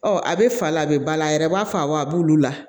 Ɔ a bɛ fa la a bɛ bala a yɛrɛ b'a fa wa a b'olu la